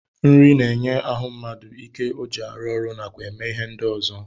Nri na-enye ahụ mmadụ ike ọ ji arụ ọrụ nakwa eme ihe ndị ọzọ